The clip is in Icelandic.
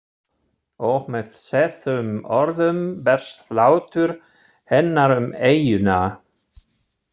Og með þessum orðum berst hlátur hennar um eyjuna.